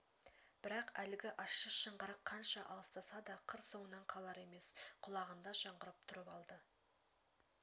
бірақ әлгі ащы шыңғырық қанша алыстаса да қыр соңынан қалар емес құлағында жаңғырып тұрып алды